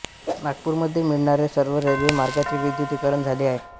नागपूरमध्ये मिळणारे सर्व रेल्वे मार्गांचे विद्युतीकरण झाले आहे